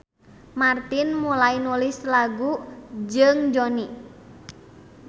Martin mulai nulis lagu jeung Jonny.